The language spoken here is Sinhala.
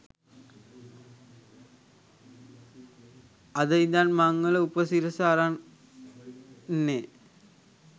අද ඉඳන් මංවල උපසිරස අරන් එන්නේ